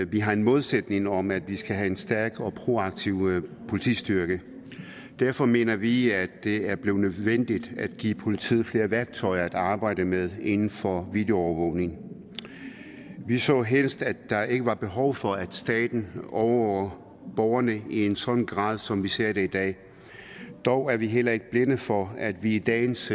vi har en målsætning om at vi skal have en stærk og proaktiv politistyrke derfor mener vi at det er blevet nødvendigt at give politiet flere værktøjer at arbejde med inden for videoovervågning vi så helst at der ikke var behov for at staten overvåger borgerne i en sådan grad som vi ser det i dag dog er vi heller ikke blinde for at vi i dagens